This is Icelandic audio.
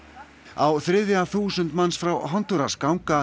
á þriðja þúsund manns frá Hondúras ganga